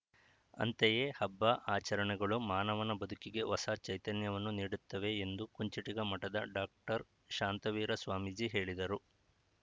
ಅಂತೆಯೇ ಹಬ್ಬ ಆಚರಣೆಗಳು ಮಾನವನ ಬದುಕಿಗೆ ಹೊಸ ಚೈತನ್ಯವನ್ನು ನೀಡುತ್ತವೆ ಎಂದು ಕುಂಚಿಟಿಗ ಮಠದ ಡಾಕ್ಟರ್ ಶಾಂತವೀರ ಸ್ವಾಮೀಜಿ ಹೇಳಿದರು